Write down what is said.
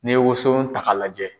N'e ye woson ta ka lajɛ.